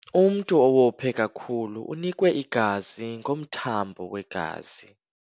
Umntu owophe kakhulu unikwe igazi ngomthambo wegazi.